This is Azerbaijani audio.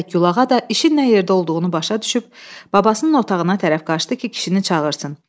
Və Gülağa da işin nə yerdə olduğunu başa düşüb, babasının otağına tərəf qaçdı ki, kişinin çağırsın.